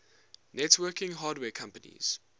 networking hardware companies